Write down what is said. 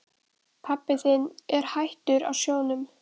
Pabbi þinn er hættur á sjónum.